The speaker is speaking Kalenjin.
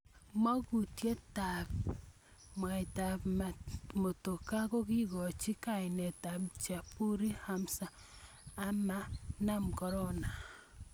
Mukutuutyetaab ab mwaita ab motokaa kokikikochi kainet ab Jabiru Hamza ama nam Corona.